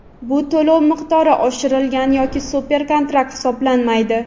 bu to‘lov miqdori oshirilgan yoki super kontrakt hisoblanmaydi.